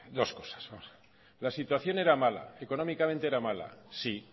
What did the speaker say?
dos cosas vamos a ver la situación era mala económicamente era mala sí